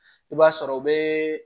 I b'a sɔrɔ o be